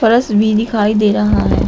भी दिखाई दे रहा है।